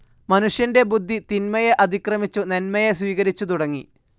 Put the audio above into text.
മനുഷ്യന്റെ ബുദ്ധി തിന്മയെ അതിക്രമിച്ചു നന്മയെ സ്വീകരിച്ചു തുടങ്ങി.